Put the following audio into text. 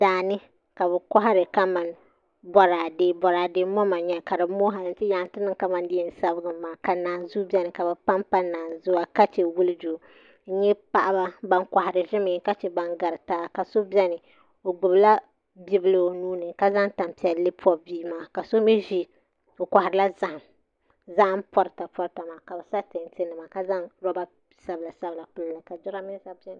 Daani ka bi kɔhari bɔradɛ bɔradɛ moma n yɛli ka di mooi hali nti niŋ Ka di yɛn sabigi mi maa ka nanzuu bɛni ka bi pam pa li ka chɛ wulijo nyɛ paɣaba bani kɔhiri zimi ka chɛ ban garita so bɛni o gbubi la bi bila o nuu ni ka zaŋ tani piɛli pɔbi bia maa ka so mi zi o kɔhirila zahim pɔrita pɔrita maa ka bi sa tanti nima ka zaŋ rɔba sabila sabila pili ka jiranbisa nima bɛni .